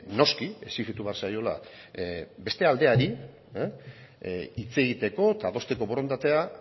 noski exijitu behar zaiola beste aldeari hitz egiteko eta adosteko borondatea